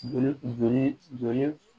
Joli joli